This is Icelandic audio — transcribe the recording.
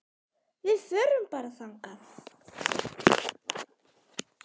Við förum bara þangað!